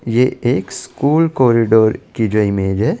ये एक school corridor की जो इमेज है ।